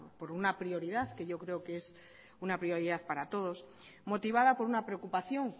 por una prioridad que yo creo que es una prioridad para todos motivada por una preocupación